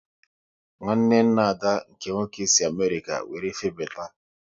Nwanne nna Ada nke nwoke si Amerịka wéré febata